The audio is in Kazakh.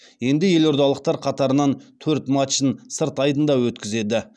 енді елордалықтар қатарынан төрт матчын сырт айдында өткізеді